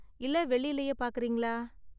இல்ல வெள்ளிலயே பார்க்கறீங்களா?